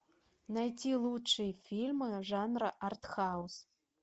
найти лучшие фильмы жанра артхаус